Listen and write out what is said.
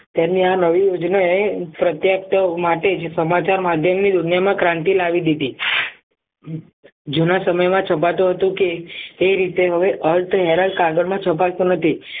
તેમણે આ નવી યોજના એ પ્રત્યક્ત માટે જ સમાચાર માધ્યમની દુનિયામાં ક્રાંતિ લાવી દીધી જુના સમયમાં છપાતો હતો કે એ રીતે હવે અર્ધ હેરાન કાગળમાં છાપ નથી